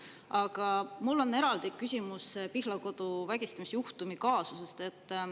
Aga mul on eraldi küsimus Pihlakodu vägistamisjuhtumi kaasusest.